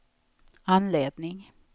anledning